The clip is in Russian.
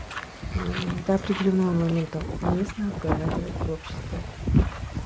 мм до определённого момента уместно обговаривать в обществе